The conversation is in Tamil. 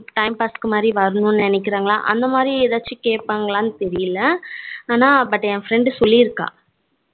time pass க்கு வரும் நினைக்குறாங்களா அந்த மாதிரி ஏதாச்சும் கேப்பாங்காலனு தெரியல ஆனா but friend சொல்லிறுக்கா